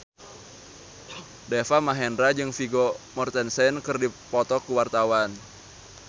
Deva Mahendra jeung Vigo Mortensen keur dipoto ku wartawan